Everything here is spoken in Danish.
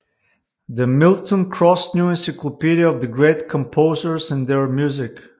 The Milton Cross New Encyclopedia of the Great Composers and Their Music